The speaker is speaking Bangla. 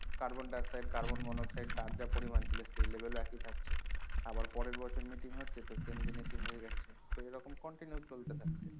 carbondioxide carbon monooxide তার যা পরিমাণ ছিল সেই level ও একই থাকছে আবার পরের বছর meeting হচ্ছে তো same জিনিসই হয়ে যাচ্ছে তো এইরকম continue চলতে থাকছে